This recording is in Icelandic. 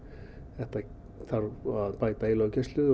það þarf að bæta í löggæslu